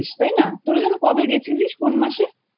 তাইনা? তোরা যেন কবে গেছিলিস? কোন মাসে?